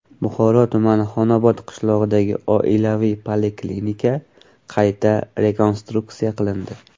Buxoro tumani Xonobod qishlog‘idagi oilaviy poliklinika qayta rekonstruksiya qilindi.